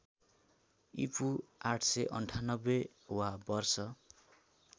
ईपू ८९८ वा वर्ष